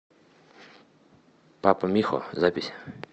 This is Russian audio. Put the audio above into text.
папа михо запись